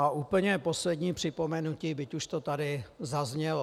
A úplně poslední připomenutí, byť už to tady zaznělo.